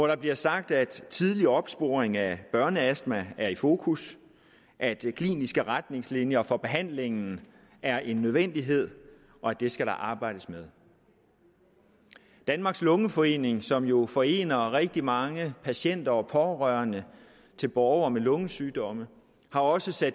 der sagt at tidlig opsporing af børneastma er i fokus at kliniske retningslinjer for behandlingen er en nødvendighed og at det skal der arbejdes med danmarks lungeforening som jo forener rigtig mange patienter og pårørende til borgere med lungesygdomme har også